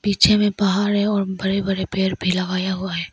पीछे में पहाड़ी है और बड़े बड़े पेड़ भी लगाया हुआ है।